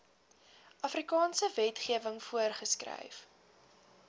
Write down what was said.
suidafrikaanse wetgewing voorgeskryf